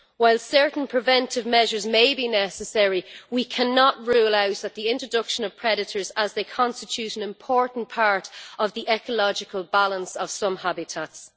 While certain preventive measures may be necessary, we cannot rule out the introduction of predators as they constitute an important part of the ecological balance of some habitats.